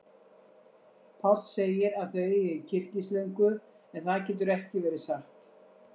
Páll segir að þau eigi kyrkislöngu, en það getur ekki verið satt.